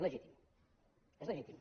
legítim és legítim